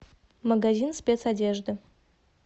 магазин спецодежды